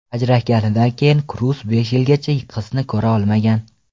Ajrashganidan keyin Kruz besh yilgacha qizini ko‘ra olmagan.